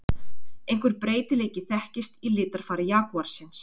Einhver breytileiki þekkist í litarfari jagúarsins.